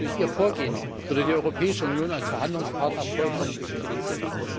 Durch ihr Vorgehen würde die Europäische Union als Verhandlungspartner vollkommen diskreditiert.